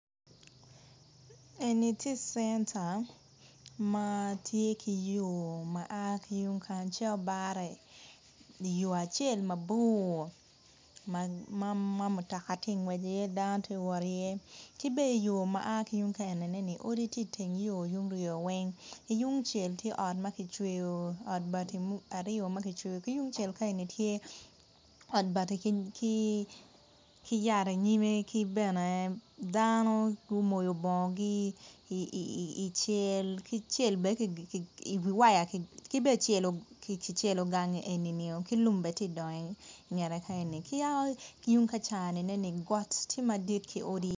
Eni tye centa ma tye ki yo ma a ki tung kany ceto bare iyo acel mabor ma mutoka ti ngwec iye dano ti wot iye ki bene iyo ma a ki tung ka eneni odi tye iteng yo tung ryo weng tungcel tye ot ma kicweyo ot bati aryo ma kicweyo ki tungcel ka eni tye ot bati ki yat inyime ki bene dano gumoyo bongo icel ki bene kicelo gang enio ki lum bene ti dongo ingete ka yaka tung kaca got tye madwong.